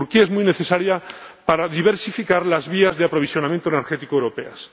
Turquía es muy necesaria para diversificar las vías de aprovisionamiento energético de Europa.